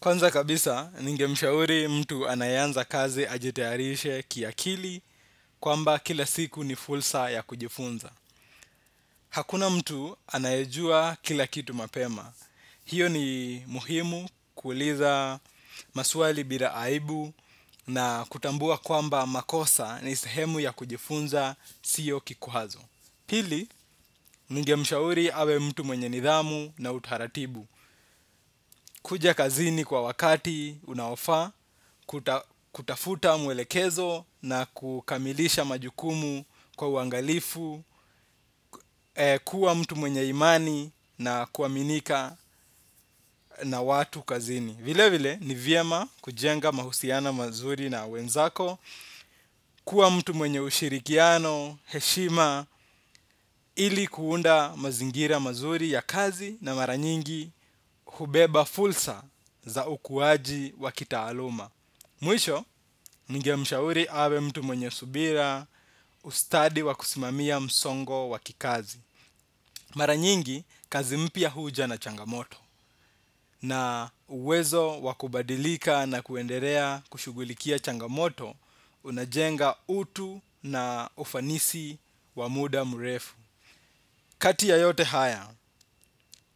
Kwanza kabisa, ninge mshauri mtu anayeanza kazi ajitayarishe kiakili kwamba kila siku ni fulsa ya kujifunza. Hakuna mtu anayejua kila kitu mapema. Hio ni muhimu kuuliza maswali bila aibu na kutambua kwamba makosa ni sehemu ya kujifunza siyo kikwazo. Pili, ninge mshauri awe mtu mwenye nidhamu na utaratibu. Kuja kazini kwa wakati unaofaa, kutafuta mwelekezo na kukamilisha majukumu kwa uangalifu, kuwa mtu mwenye imani na kuaminika na watu kazini. Vile vile ni vyema kujenga mahusiano mazuri na wenzako kuwa mtu mwenye ushirikiano heshima ili kuunda mazingira mazuri ya kazi na maranyingi hubeba fulsa za ukuwaji wa kitaaluma. Mwisho, ninge mshauri awe mtu mwenye subira ustadi wa kusimamia msongo wa kikazi. Maranyingi, kazi mpya huja na changamoto. Na uwezo wakubadilika na kuendelea kushugulikia changamoto, unajenga utu na ufanisi wa muda murefu. Kati ya yote haya,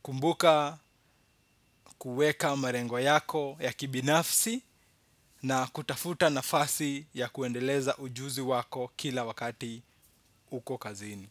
kumbuka kuweka marengo yako ya kibinafsi na kutafuta nafasi ya kuendeleza ujuzi wako kila wakati uko kazini.